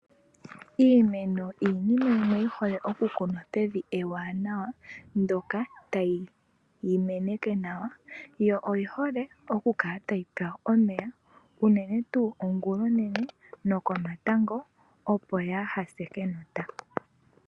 Iimeno iinima yimwe yi hole okukunwa pevi ewanawa ndoka tali yi meneke nawa yo oyi hole okukala tayi pewa omeya, unene tuu ongula onene nokomatango opo yaa hase kenota.